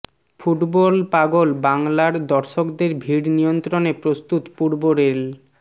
ফুটব পাগল বাংলার দর্শকদের ভিড় নিয়ন্ত্রণে প্রস্তুত পূর্ব রেল